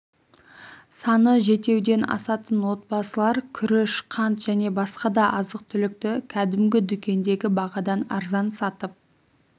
саны жетеуден асатын отбасылар күріш қант және басқа да азық-түлікті кәдімгі дүкендегі бағадан арзан сатып